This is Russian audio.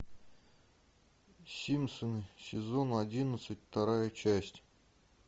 симпсоны сезон одиннадцать вторая часть